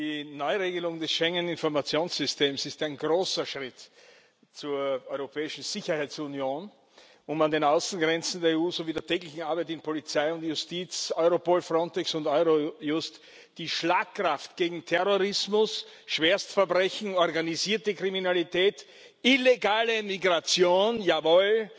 Die Neuregelung des Schengener Informationssystems ist ein großer Schritt zur europäischen Sicherheitsunion, um an den Außengrenzen der EU sowie bei der täglichen Arbeit in Polizei und Justiz, Europol, Frontex und Eurojust die Schlagkraft gegen Terrorismus, Schwerstverbrechen, organisierte Kriminalität, illegale Migration jawohl